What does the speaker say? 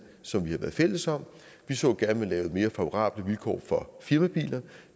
som vi har været fælles om vi så gerne at man lavede mere favorable vilkår for firmabiler